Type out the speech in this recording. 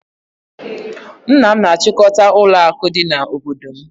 Nna m na-achịkọta ụlọakụ dị n'obodo m